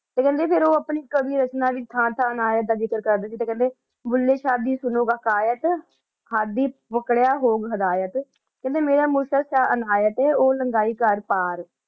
ਤੇ ਕੇਹ੍ਨ੍ਡੇ ਫੇਰ ਊ ਆਪਣੀ ਕਾਵਿ ਰਚਨਾ ਵਿਚ ਥਾਂ ਥਾਂ ਤੇ ਅਨਾਯਤ ਦਾ ਜ਼ਿਕਰ ਕਰਦਾ ਸੀ ਤੇ ਕੇਹ੍ਨ੍ਡੇ ਭੁੱਲੇ ਸ਼ਾਹ ਦੀ ਸੁਨੋ ਹਕਾਯਤ ਹਾੜੀ ਪਾਕ੍ਰਯ ਹੋ ਹਿਦਾਯਤ ਕੇਹ੍ਨ੍ਡੇ ਮੇਰਾ ਮੁਰਸ਼ਦ ਸ਼ਾਹ ਅਨਾਯਤ ਆਯ ਊ ਲਾਂਗੀ ਕਰ ਪਾਰ